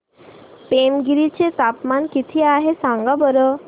पेमगिरी चे तापमान किती आहे सांगा बरं